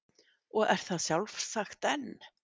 Og er það sjálfsagt enn.